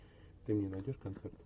ты мне найдешь концерт